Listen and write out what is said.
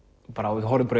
horfum bara